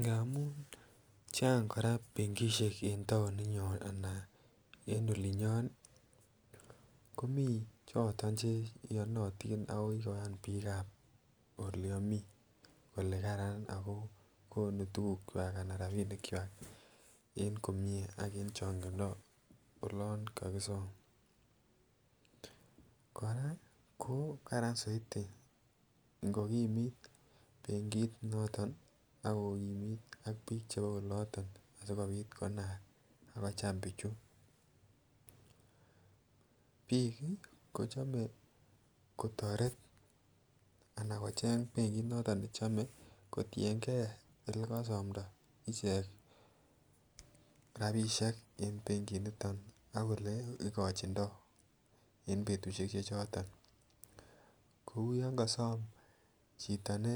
Ngamun chang kora benkisiek en taoninyon anan en olinyon ii, komi choton che iyonotin ako kikoyan piikab ole ami, kole karan ako konu tukukchwak anan rabiinikchwak en komie ak en chongindo olon kakisom, kora ko karan zaidi ngokimit benkit noton ako kimit ak piik chebo oloton asikobit konaak ako cham pichu, piik ii kochome kotoret anan kocheng benkit noton ne chome kotienkei olekasamdo ichek rabiisiek en benkinoton ak ole ikochindoi en betusiek che choton, kouyon kasom chito ne